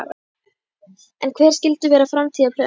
En hver skyldu vera framtíðarplönin?